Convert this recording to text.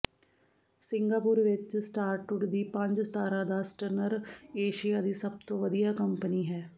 Singapore ਵਿਚ ਸਟਾਰਟੁੱਡ ਦੀ ਪੰਜ ਸਿਤਾਰਾ ਦਾ ਸਟਨਨਰ ਏਸ਼ੀਆ ਦੀ ਸਭ ਤੋਂ ਵਧੀਆ ਕੰਪਨੀ ਹੈ